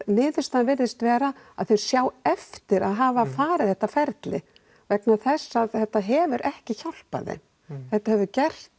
niðurstaðan virðist vera að þau sjái eftir því að hafa farið þetta ferli vegna þess að þetta hefur ekki hjálpað þeim þetta hefur gert